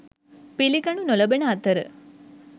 පිළිගනු නොලබන අතර